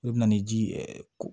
I bɛ na ni ji ɛ ko